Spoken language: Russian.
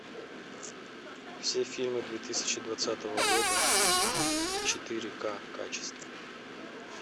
все фильмы две тысячи двадцатого года в четыре ка качестве